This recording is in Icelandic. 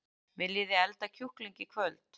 Viljiði elda kjúkling í kvöld?